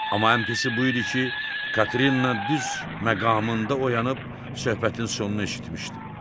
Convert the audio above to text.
Amma ən pisi bu idi ki, Katrinna düz məqamında oyanıb söhbətin sonunu eşitmişdi.